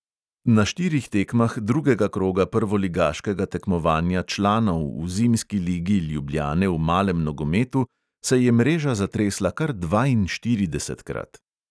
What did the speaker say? Na štirih tekmah drugega kroga prvoligaškega tekmovanja članov v zimski ligi ljubljane v malem nogometu se je mreža zatresla kar dvainštiridesetkrat.